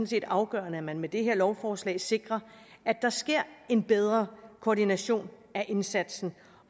set afgørende at man med det her lovforslag sikrer at der sker en bedre koordination af indsatsen